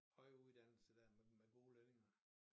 Høje uddannelser dér med med gode lønninger